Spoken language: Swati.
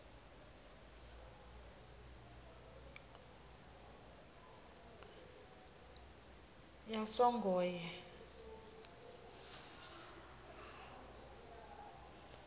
yasongoye